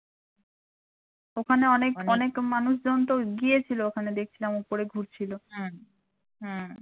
ওখানে অনেক অনেক মানুষজন তো গিয়েছিল ওখানে দেখছিলাম ওপরে ঘুরছিল